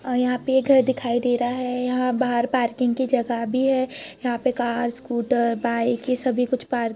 और यहां पे ये घर दिखाई दे रहा है। यहां बाहर पार्किंग की जगह भी है। यहां पे कार स्कूटर बाइक ये सभी कुछ पार्क --